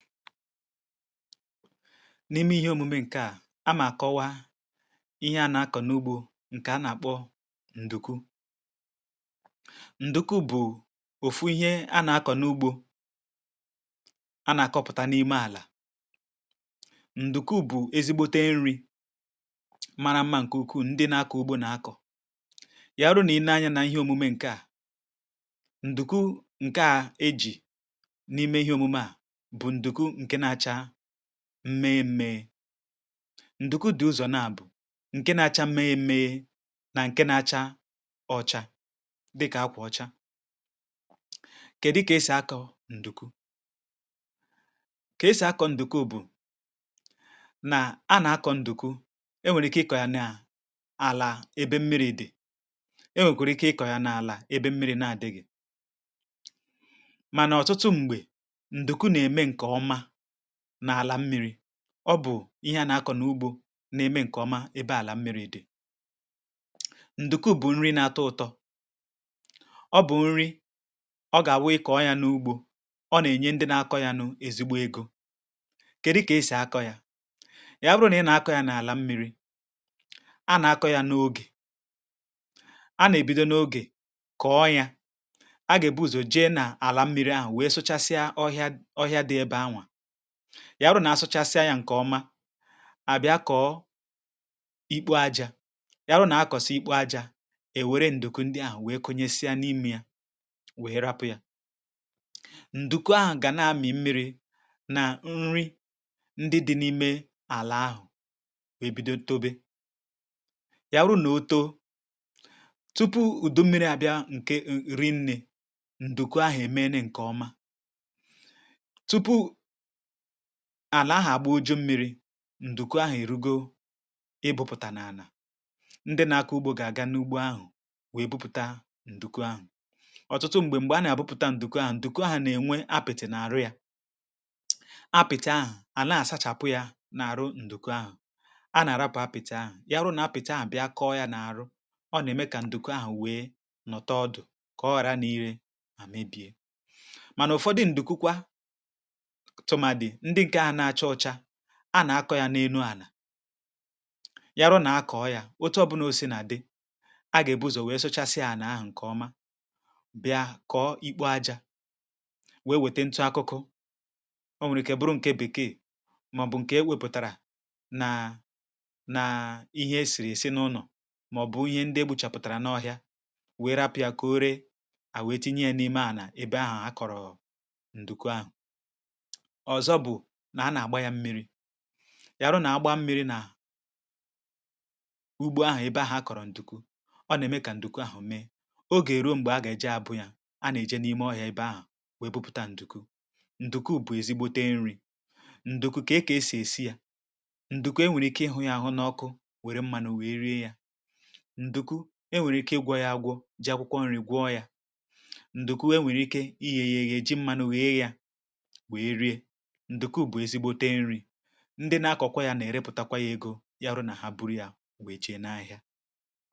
n’ime ihe omume ǹkè a mà kọwaa ihe a nà-akọ̀ n’ugbȯ ǹkè a nà-àkpọ ǹdùku um ǹdùku bụ̀ òfu ihe a nà-akọ̀ n’ugbȯ a nà-àkọpụ̀ta n’ime àlà ǹdùku bụ̀ ezigbote nri̇ mara mmȧ ǹkè ukwu ndị na-akọ̀ ugbȯ nà-akọ̀ yàru nà i nee anyȧ nà ihe omume ǹkè a ǹdùku ǹkè a ejì n’ime ihe omume a m mee mmee ndùku dị ụzọ naa bụ̀ nke na-acha mmee mmee na nke na-acha ọcha dịkà akwụ̀ ọcha ke dịka esì akọ̀ ndùku kesì akọ̀ ndùku bụ̀ na, a na-akọ̀ ndùku e nwèkwèrè ike ịkọ̀ yà naà àlà ebe mmiri dị̀ um e nwèkwèrè ike ịkọ̀ yà naàlà ebe mmiri na-adịghị̀ mànà ọtụtụ m̀gbè nà àlà mmi̇ri̇ ọ bụ̀ ihe a nà akọ̀ nà ugbȯ na-eme ǹkè ọma ebe àlà mmiri̇ dị̀ ǹdùkwù bụ̀ nrì n’atọ̇ ụtọ̇ ọ bụ̀ nrì ọ gà àwụ ịkọ̀ ọ yȧ n’ugbȯ ọ nà ènye ndị na akọ̇ yȧ nụ̇ ezigbo egȯ kè dịkà esì akọ̇ yȧ yà bụrụ nà ị nà akọ̇ yȧ n’àlà mmiri̇ a nà akọ̇ yȧ n’ogè a nà ebido n’ogè kọ̀ọ yȧ agà ebu̇zò jee nà àlà mmiri̇ ahụ̀ wèe sụchasịa ọhịa dị ebe anwà ya arụ nà-asụchasịa ǹkè ọma àbịa kọ̀ọ ikpuajȧ ya arụ nà-akọ̀sị̀ ikpuajȧ èwere ǹdùku ndị ahụ̀ wee kụnyesịa n’ime ya wehera apụ̇ ya ǹdùku ahụ̀ gà na-amị̀ mmiri̇ nà nri ndị dị̇ n’ime àlà ahụ̀ e bido tobe ya arụ nà-òtȯ tupu ùdù mmiri̇ àbịa um ǹkè nrị nnė ǹdùku ahụ̀ èmena ǹkè ọma àlà ahà agba oju̇ mmiri̇ ǹdùkwu ahụ̀ ìrugo ịbụ̇pụ̀tà n’àlà ndị nȧ-ȧkọ̇ ugbȯ gà-àga n’ugbȯ ahụ̀ wèe bụpụta ǹdùkwu ahụ̀ ọ̀tụtụ m̀gbè a nà-àbụpụ̀ta ǹdùkwu ahụ̀ ǹdùkwu ahụ̀ nà-ènwe apịtị̀ n’àrụ yȧ apịtị̀ ahụ̀ àlà a sachàpụ yȧ n’àrụ ǹdùkwu ahụ̀ a nà-àrapụ̀ apịtị̀ ahụ̀ ya hụ nà apịtị ahụ̀ bịa kọọ yȧ n’àrụ ọ nà-ème kà ǹdùkwu ahụ̀ wèe nọta ọdụ̀ kọọ ghara n’ire à mebie mànà ụ̀fọdụ ǹdùkwukwa a nà-akọ̇ yȧ n’enu ànà yàrụ nà akọ̀ọ yȧ ụtọ ọ̀bụnoosí nà dɪ á gà-èbu̇zò wèe sụchasịa ànà ahụ̀ ǹkèọma bịa kọ̀ọ ikpu̇ ajȧ wèe wètentụ akụkụ o nwèrè ike ịbụ ǹkè bekee um màọ̀bụ̀ ǹkè ewèpụ̀tàrà nàà nàà ihe esìrì èsi n’ụnọ̀ màọ̀bụ̀ ihe ndị e gbùchàpụ̀tàrà n’ọhịȧ wère rapị̀a kò ree à wẹ tinye ya n’ime ànà ebe ahụ̀ a kọ̀rọ̀ ǹdùkwa ahụ̀ yarụ nà-agba mmiri̇ nà ugbȯ ahụ̀ ebe ahụ̀ a kọ̀rọ̀ ǹdùkwu ọ nà-ème kà ǹdùkwu àhụ̀ mee o gà-èro ṁgbe a gà-èje abụ̇ yȧ a nà-eje n’ime ọhịȧ ebe ahụ̀ wèe bụpụ̀ta ǹdùkwu ǹdùkwu bụ̀ ezigbote nrị̇ ǹdùkwu kà e kà esì èsi yȧ ǹdùkwu e nwèrè ike ịhụ̇ yȧ hụ n’ọkụ wère mmanụ wèe rie yȧ ǹdùkwu e nwèrè ike ịgwọ̇ yȧ agwọ̇ ji akwụkwọ nrì gwọọ yȧ ǹdùkwu e nwèrè ike iyie yȧ eji mmanụ wèe yȧ ndị na-akọkọ̀ ya na-erepụtakwà yà ego um yàrụ na ha bụrụ̀ ya wee chèe n’ahịà